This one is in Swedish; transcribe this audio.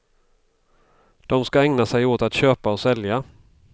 De ska ägna sig åt att köpa och sälja.